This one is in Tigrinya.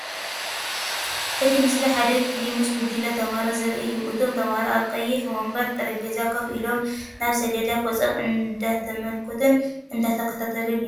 እቲ ምስሊ ሓደ ክፍሊ ምስ ጉጅለ ተማሃሮ ዘርኢ እዩ። እቶም ተምሃሮ ኣብ ቀይሕ መንበር/ጠረጴዛ ኮፍ ኢሎም ናብ ሰሌዳ ገጾም እንዳተመልከቱን እንዳተኸታተሉን ይርከቡ።